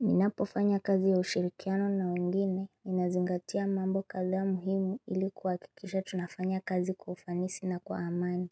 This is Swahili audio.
Ninapo fanya kazi ya ushirikiano na wengine, ninazingatia mambo kadha ya muhimu ili kuhakikisha tunafanya kazi kwa ufanisi na kwa amani